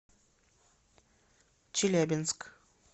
челябинск